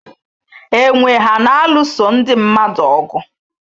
Enwe ha na-alụso ndị mmadụ ọgụ?